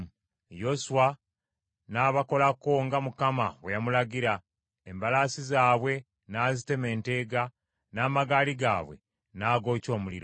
Yoswa n’abakolako nga Mukama bwe yamulagira, embalaasi zaabwe nazitema enteega, n’amagaali gaabwe n’agookya omuliro.